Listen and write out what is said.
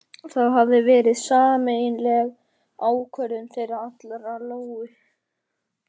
Það hafði verið sameiginleg ákvörðun þeirra allra- Lóu